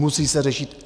Musí se řešit.